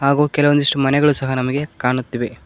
ಹಾಗು ಕೆಲವೊಂದಿಷ್ಟು ಮನೆಗಳು ಸಹ ನಮಗೆ ಕಾಣುತ್ತಿವೆ.